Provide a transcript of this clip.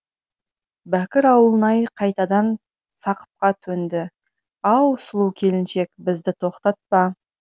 бәкір ауылнай қайтадан сақыпқа төнді ау сұлу келіншек бізді тоқтатпа